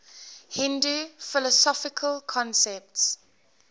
hindu philosophical concepts